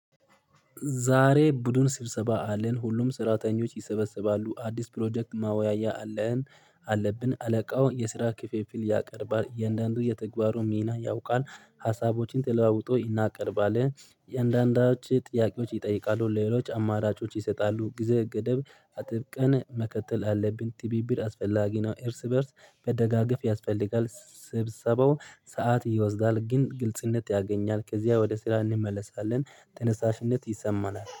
ዛሬ ቡድን ስብሰባ አለን ሁሉም ስራተኞች ይሰበስባሉ አዲስ ፕሮጀክት መወያያ አለን አለብን አለቃው የስራ ክፍፍል ያቀርባል የእንደአንዱ የተግባሩ ሚና ያውቃል። ሀሳቦችን ተለዋውጦ እናቀርባለን አንዳንዶች ጥያቄዎች ይጠይቃሉ ለሌሎች አማራጮች ይሰጣሉ። ጊዜ ገደብ አጥብቀን መከተል አለብን ትብብር አስፈላጊ ነው። እርስ በእርስ በደጋግፍ ያስፈልጋል። ስብሰባው ሰዓት ይወስዳል ግን ግልጽነት ያገኛል ከዚያ ወደ ስራ እንመለሳለን። ተነሳሽነት ይሰማናል